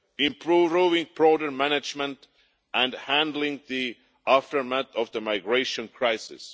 improving border management and handling the aftermath of the migration crisis.